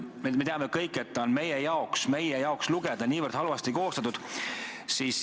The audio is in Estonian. Me kõik teame, et see on niivõrd halvasti loetavalt koostatud.